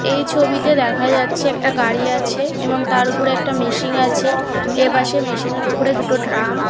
এই ছবিতে দেখা যাচ্ছে একটা গাড়ি আছে এবং তার ওপর একটা মেশিন আছে এপাশে মেশিন এর উপরে দুটো ট্রাম |